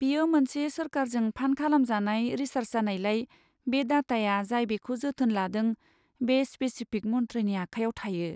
बेयो मोनसे सोरखारजों फान्ड खालामजानाय रिसार्स जानायलाय, बे डाटाया जाय बेखौ जोथोन लादों बे स्पेसिफिक मन्थ्रिनि आखाइयाव थायो।